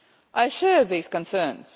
I share these concerns.